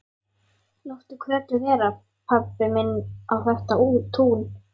Láttu Kötu vera, pabbi minn á þetta tún!